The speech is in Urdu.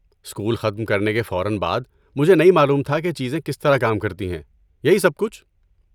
اسکول ختم کرنے کے فوراً بعد، مجھے نہیں معلوم تھا کہ چیزیں کس طرح کام کرتی ہیں، یہی سب کچھ۔